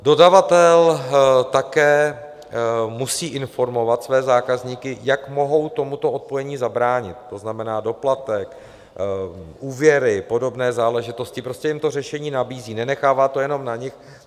Dodavatel také musí informovat své zákazníky, jak mohou tomuto odpojení zabránit, to znamená doplatek, úvěry, podobné záležitosti, prostě jim to řešení nabízí, nenechává to jenom na nic.